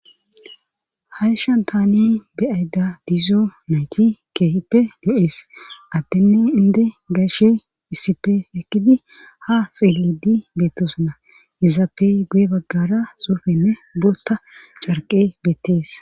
haysahan taani beyayda dizo nayti keehippe yo7ees addenne inde gashe issipe ekkidi ha xiledi beettosuna izappe guye baggara surfenne bootta carqe beettees